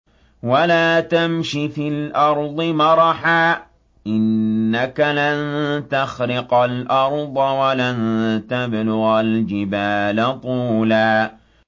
وَلَا تَمْشِ فِي الْأَرْضِ مَرَحًا ۖ إِنَّكَ لَن تَخْرِقَ الْأَرْضَ وَلَن تَبْلُغَ الْجِبَالَ طُولًا